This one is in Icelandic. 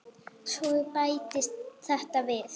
Svo bættist þetta við.